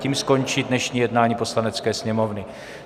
Tím skončí dnešní jednání Poslanecké sněmovny.